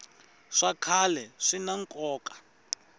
swa khale swina nkoka